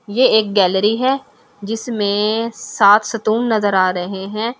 ये एक गैलरी है जिसमे साथ सतून नज़र आ रहे है।